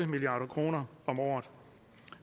milliard kroner om året